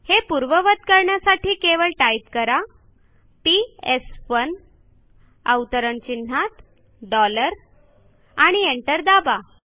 हे पूर्ववत करण्यासाठी केवळ टाईप करा पीएस1 equal T O dollar within quotes आणि एंटर दाबा